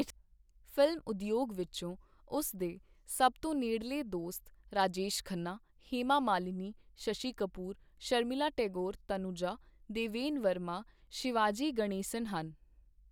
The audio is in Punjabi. ਫਿਲਮ ਉਦਯੋਗ ਵਿੱਚੋਂ ਉਸ ਦੇ ਸਭ ਤੋਂ ਨੇੜਲੇ ਦੋਸਤ ਰਾਜੇਸ਼ ਖੰਨਾ, ਹੇਮਾ ਮਾਲਿਨੀ, ਸ਼ਸ਼ੀ ਕਪੂਰ, ਸ਼ਰਮੀਲਾ ਟੈਗੋਰ, ਤਨੁਜਾ, ਦੇਵੇਨ ਵਰਮਾ, ਸ਼ਿਵਾਜੀ ਗਣੇਸਨ ਹਨ।